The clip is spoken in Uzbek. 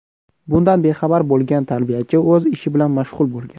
Bundan bexabar bo‘lgan tarbiyachi o‘z ishi bilan mashg‘ul bo‘lgan.